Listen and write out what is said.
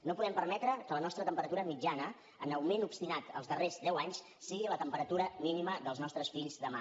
no podem permetre que la nostra temperatura mitjana en augment obstinat els darrers deu anys sigui la temperatura mínima dels nostres fills demà